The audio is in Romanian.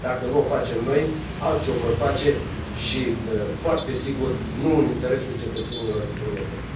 Dacă nu o facem noi, alții o vor face și foarte sigur, nu în interesul cetățenilor europeni.